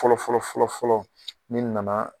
Fɔlɔfɔlɔ fɔlɔfɔlɔ n'i nana